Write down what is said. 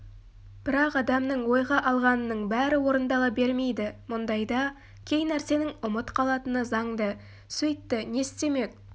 бірақ адамның ойға алғанының бәрі орындала бермейді мұндайда кей нәрсенің ұмыт қалатыны заңды сөйтті не істемек